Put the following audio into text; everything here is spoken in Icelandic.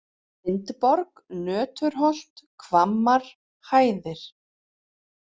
Vindborg, Nöturholt, Hvammar, Hæðir